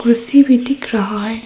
कुर्सी भी दिख रहा है।